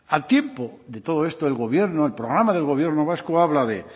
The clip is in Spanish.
al tiempo de todo esto el gobierno el programa del gobierno vasco habla de